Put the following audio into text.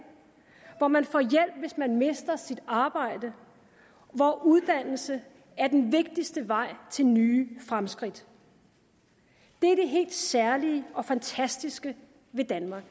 hvor man får hjælp hvis man mister sit arbejde hvor uddannelse er den vigtigste vej til nye fremskridt det er det helt særlige og fantastiske ved danmark